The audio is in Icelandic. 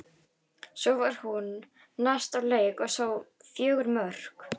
Svo fór hún næst á leik og sá fjögur mörk.